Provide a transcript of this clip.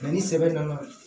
ni sɛbɛn nana